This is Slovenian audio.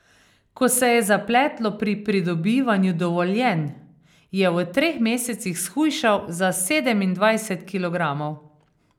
Ko se je zapletlo pri pridobivanju dovoljenj, je v treh mesecih shujšal za sedemindvajset kilogramov.